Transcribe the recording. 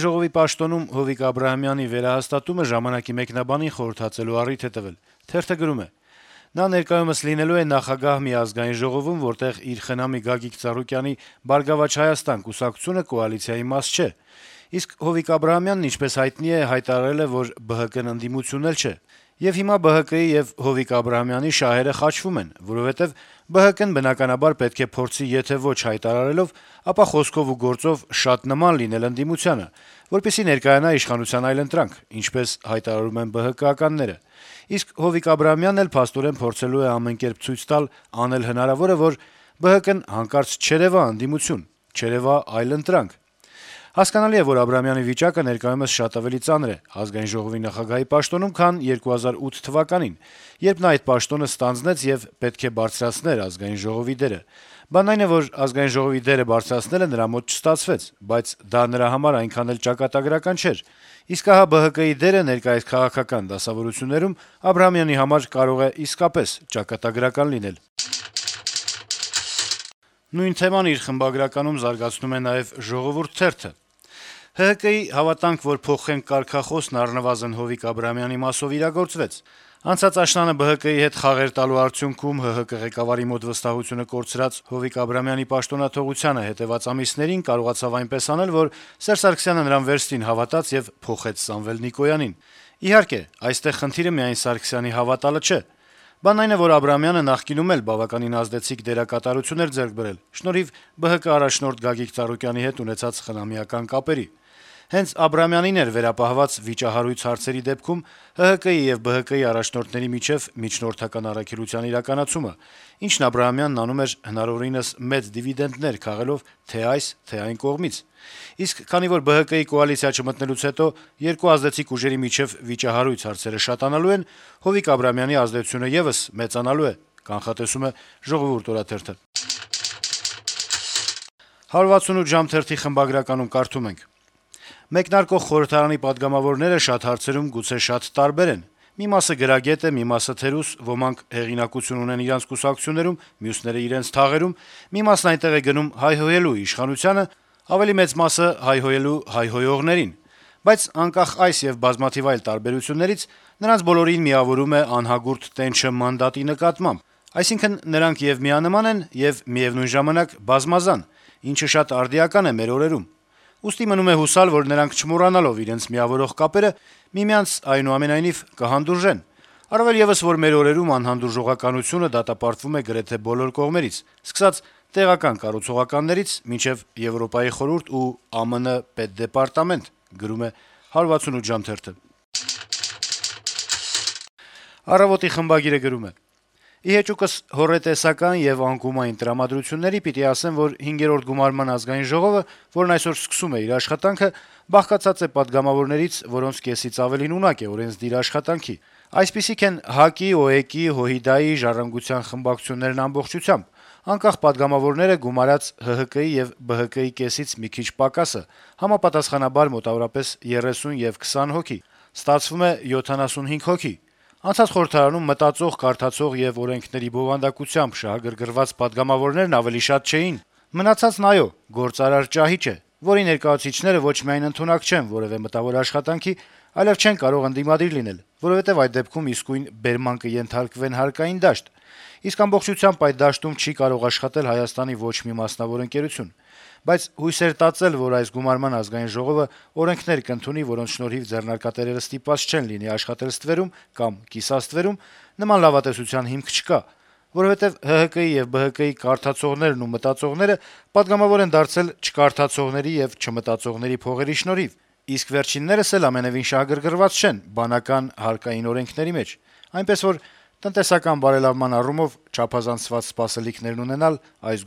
ժողովի նախագահի պաշտոնում Հովիկ Աբրահամյանի վերահաստատումը «Ժամանակ»-ի մեկնաբանին խորհրդածելու առիթ է տվել. - «Նա ներկայումս լինելու է նախագահ մի ԱԺ-ում, որտեղ իր խնամի Գագիկ Ծառուկյանի «Բարգավաճ Հայաստան» կուսակցությունը կոալիցիայի մաս չէ։ Իսկ Հովիկ Աբրահամյանը, ինչպես հայտնի է, հայտարարել է, որ ԲՀԿ-ն ընդդիմություն էլ չէ։ Եվ հիմա ԲՀԿ-ի եւ Հովիկ Աբրահամյանի շահերը խաչվում են, որովհետեւ ԲՀԿ-ն բնականաբար պետք է փորձի եթե ոչ հայտարարելով, ապա խոսքով ու գործով շատ նման լինել ընդդիմությանը, որպեսզի ներկայանա իշխանության այլընտրանք` ինչպես հայտարարում են ԲՀԿ-ականները, իսկ Հովիկ Աբրահամյանն էլ փաստորեն փորձելու է ամեն կերպ ցույց տալ, անել հնարավորը, որ ԲՀԿ-ն հանկարծ չերեւա ընդդիմություն, չերեւա այլընտրանք։ Հասկանալի է, որ Աբրահամյանի վիճակը ներկայումս շատ ավելի ծանր է ԱԺ նախագահի պաշտոնում, քան 2008 թվականին, երբ նա այդ պաշտոնը ստանձնեց եւ պետք է բարձրացներ ԱԺ դերը։ Բանն այն է, որ ԱԺ դերը բարձրացնելը նրա մոտ չստացվեց, բայց դա նրա համար այնքան էլ ճակատագրական չէր, իսկ ահա ԲՀԿ դերը ներկայիս քաղաքական դասավորություններում Աբրահամյանի համար կարող է իսկապես ճակատագրական լինել»։ Նույն թեման խմբագրականում զարգացնում է նաեւ «Ժողովուրդ» թերթը. - «ՀՀԿ-ի` «Հավատանք, որ փոխենք» կարգախոսն առնվազն Հովիկ Աբրահամյանի մասով իրագործվեց: Անցած աշնանը ԲՀԿ-ի հետ «խաղեր տալու» արդյունքում ՀՀԿ ղեկավարի մոտ վստահությունը կորցրած Հովիկ Աբրահամյանը պաշտոնաթողությանը հետեւած ամիսներին կարողացավ այնպես անել, որ Սերժ Սարգսյանը նրան վերստին հավատաց ու փոխեց Սամվել Նիկոյանին: Իհարկե, այստեղ խնդիրը միայն Սարգսյանի հավատալը չէ. բանն այն է, որ Աբրահամյանը նախկինում էլ բավականին ազդեցիկ դերակատարում էր ձեռք բերել` շնորհիվ ԲՀԿ առաջնորդ Գագիկ Ծառուկյանի հետ ունեցած խնամիական կապերի: Հենց Աբրահամյանին էր վերապահված վիճահարույց հարցերի դեպքում ՀՀԿ-ի եւ ԲՀԿ-ի առաջնորդների միջեւ «միջնորդական առաքելության» իրականացումը, ինչն Աբրահամյանն անում էր` հնարավորինս մեծ դիվիդենտներ քաղելով թե' այս, թե' այն կողմից: Իսկ քանի որ ԲՀԿ-ի` կոալիցիա չմտնելուց հետո երկու ազդեցիկ ուժերի միջեւ վիճահարույց հարցերը շատանալու են, Հովիկ Աբրահամյանի ազդեցությունը եւս մեծանալու է»: «168 ժամ» թերթի խմբագրականում կարդում ենք. - «Մեկնարկող խորհրդարանի պատգամավորները շատ հարցերում գուցե շատ տարբեր են. մի մասը գրագետ է, մի մասը` թերուս, ոմանք հեղինակություն ունեն իրենց կուսակցություններում, մյուսները` իրենց թաղերում, մի մասն այնտեղ է գնում` հայհոյելու իշխանությանը, ավելի մեծ մասը` հայհոյելու հայհոյողներին։ Բայց անկախ այս եւ բազմաթիվ այլ տարբերություններից` նրանց բոլորին միավորում է անհագուրդ տենչը մանդատի նկատմամբ։ Այսինքն, նրանք եւ միանման են, եւ, միեւնույն ժամանակ, բազմազան, ինչը շատ արդիական է մեր օրերում։ Ուստի մնում է հուսալ, որ նրանք չմոռանալով իրենց միավորող կապերը` միմյանց, այնուամենայնիվ, կհանդուրժեն։ Առավել եւս, որ մեր օրերում անհանդուրժողականությունը դատապարտվում է գրեթե բոլոր կողմերից. սկսած տեղական կառուցողականներից` մինչեւ Եվրոպայի խորհուրդ ու ԱՄՆ Պետդեպարտամենտ»։ «Առավոտ»-ի խմբագիրը գրում է. - «Ի հեճուկս հոռետեսական եւ «անկումային» տրամադրությունների՝ պիտի ասեմ, որ 5-րդ գումարման Ազգային ժողովը, որն այսօր սկսում է իր աշխատանքը, բաղկացած է պատգամավորներից, որոնց կեսից ավելին ունակ է օրենսդիր աշխատանքի: Այսպիսիք են ՀԱԿ-ի, ՕԵԿ-ի, ՀՅԴ-ի, «Ժառանգության» խմբակցություններն ամբողջությամբ, երկու անկախ պատգամավորները՝ գումարած ՀՀԿ-ի եւ ԲՀԿ-ի կեսից մի քիչ պակասը (համապատասխանաբար՝ մոտավորապես 30 եւ 20 հոգի): Ստացվում է 75 հոգի՝ անցած խորհրդարանում մտածող, կարդացող եւ օրենքների բովանդակությամբ շահագրգռված պատգամավորներն ավելի շատ չէին: Մնացածն, այո, «գործարար» ճահիճ է, որի ներկայացուցիչները ոչ միայն ընդունակ չեն որեւէ մտավոր աշխատանքի, այլեւ չեն կարող ընդդիմադիր լինել, որովհետեւ այդ դեպքում իսկույն «բերման կենթարկվեն» հարկային դաշտ, իսկ ամբողջությամբ այդ դաշտում չի կարող աշխատել Հայաստանի ոչ մի մասնավոր ընկերություն: Բայց հույսեր տածել, որ այս գումարման Ազգային ժողովը օրենքներ կընդունի, որոնց շնորհիվ ձեռնարկատերերը ստիպված չեն լինի աշխատել ստվերում կամ «կիսաստվերում»՝ նման լավատեսության հիմք չկա: Որովհետեւ ՀՀԿ-ի եւ ԲՀԿ-ի «կարդացողներն» ու «մտածողները» պատգամավոր են դարձել չկարդացողների եւ չմտածողների փողերի շնորհիվ, իսկ վերջիններս ամենեւին էլ շահագրգռված չեն բանական հարկային օրենքների մեջ: Այնպես որ՝ տնտեսական բարելավման առումով չափազանցված սպասելիքներ ունենալ այս